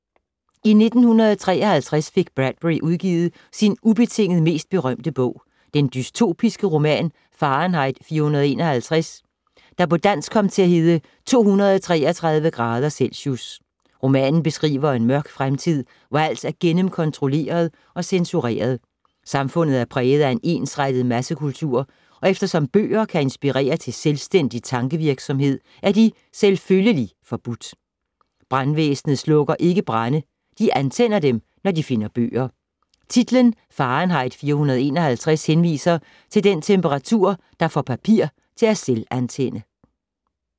I 1953 fik Bradbury udgivet sin ubetinget mest berømte bog, den dystopiske roman Fahrenheit 451, der på dansk kom til at hedde 233 grader celsius. Romanen beskriver en mørk fremtid, hvor alt er gennemkontrolleret og censureret. Samfundet er præget af en ensrettet massekultur, og eftersom bøger kan inspirere til selvstændig tankevirksomhed, er de selvfølgelig forbudt. Brandvæsnet slukker ikke brande, de antænder dem, når de finder bøger. Titlen, Fahrenheit 451, henviser til den temperatur, der får papir til at selvantænde.